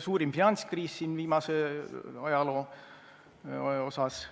suurim finantskriis ajaloo viimases osas.